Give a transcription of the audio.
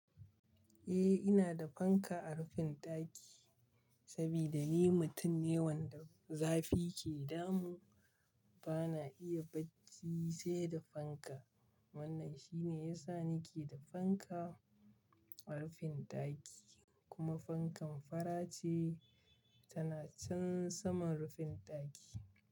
Eh, ina da fanka a rufin ɗaki saboda ni mutum ne wanda zafi ke damu. Bana iya bacci sai da fanka. Wannan shine yasa nike da fanka a rufin ɗaki kuma fankan fara ce tana can saman rufin ɗaki.